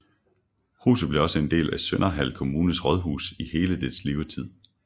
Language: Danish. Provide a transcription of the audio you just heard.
Huset blev også en del af Sønderhald Kommunes rådhus i hele dens levetid